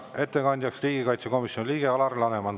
Ettekandja on riigikaitsekomisjoni liige Alar Laneman.